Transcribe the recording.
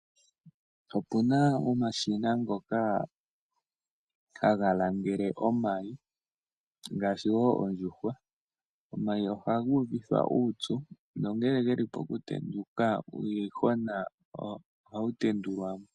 Opuna omashina ngoka haga langela omayi ngaashi wo ondjuhwa. Omayi ohaga uvithwa uupyu nongele ge li po kutendula uuyuhwena ohawu tendulwa mo.